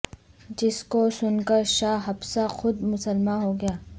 جس کو سن کر شاہ حبشہ خود مسلماں ہوگیا